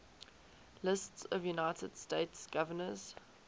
lists of united states governors